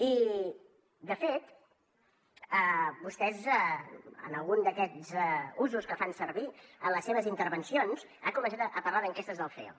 i de fet vostè en algun d’aquests usos que fan servir en les seves intervencions ha començat a parlar d’enquestes del ceo